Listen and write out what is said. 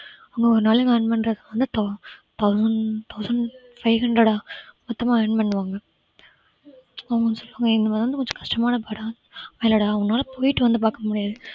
அவங்க ஒரு நாளைக்கு earn பண்றது வந்து thou~ thousand thousand five hundred ஆஹ் மொத்தமா earn பண்ணுவாங்க அவங்க mostly அவங்க கொஞ்சம் இல்லைடா உன்னால போயிட்டு வந்து பார்க்க முடியாது